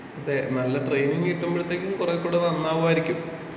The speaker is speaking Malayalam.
ഇത് നല്ല ട്രെയിനിങ് കിട്ടുമ്പഴത്തേക്കും കൊറെ കൂടി നന്നാവുമായിരിക്കും.